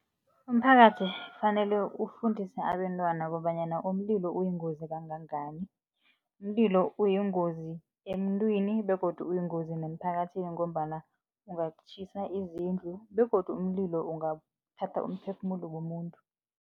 Umphakathi kufanele ufundise abentwana kobanyana umlilo uyingozi kangangani. Umlilo uyingozi emuntwini begodu uyingozi nemphakathini, ngombana ungatjhisa izindlu, begodu umlilo ungathatha umphefumulo womuntu.